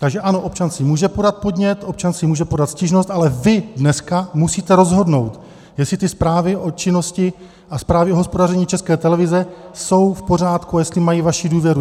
Takže ano, občan si může podat podnět, občan si může podat stížnost, ale vy dneska musíte rozhodnout, jestli ty zprávy o činnosti a zprávy hospodaření České televize jsou v pořádku a jestli mají vaši důvěru.